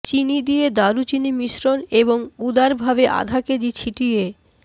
চিনি দিয়ে দারুচিনি মিশ্রণ এবং উদারভাবে আধা কেজি ছিটিয়ে